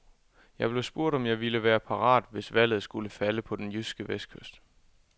Jeg blev spurgt, om jeg ville være parat, hvis valget skulle falde på den jyske vestkyst.